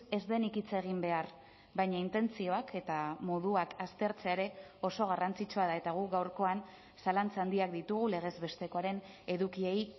ez denik hitz egin behar baina intentzioak eta moduak aztertzea ere oso garrantzitsua da eta guk gaurkoan zalantza handiak ditugu legez bestekoaren edukiei